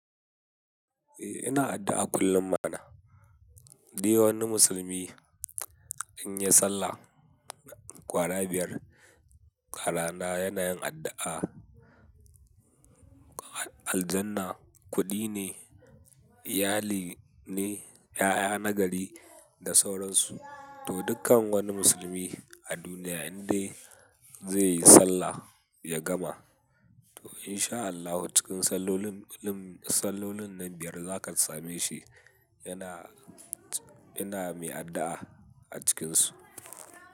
Eh ina addu'a kullum ma na. Di wani musulmi in ya sallah kwara biyar, abrana yana yin addu'a, aljanna kuɗi ne, iyali ne, 'ya'ya na gari da sauransu. To dukkan wani musulmi a duniya in dai zai yi sallah ya gama, to in sha Allahu cikin sallolin, sallolin nan biyar za ka same shi yana, yana mai addu'a a cikinsu.